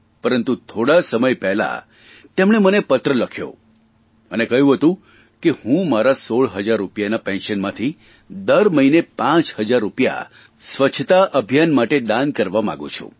પરંતુ થોડા સમય પહેલાં તેમણે મને પત્ર લખ્યો અને કહ્યું હતું કે હું મારા 16 હજાર રૂપિયાના પેન્શનમાંથી દર મહીને પાંચ હજાર રૂપિયા સ્વચ્છતા અભિયાન માટે દાન કકવા માંગુ છું